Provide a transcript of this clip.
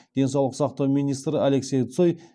денсаулық сақтау министрі алексей цой